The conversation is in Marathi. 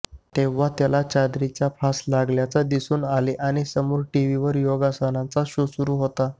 तेव्हा त्याला चादरीचा फास लागल्याचे दिसून आले आणि समोर टीव्हीवर योगासनांचा शो सुरू होता